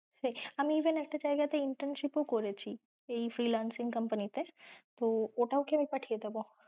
আমি even একটা জায়গা তে internship ও করেছি এই freelancing company তে তো ওঠাও কি আমি পাঠিয়ে দেব?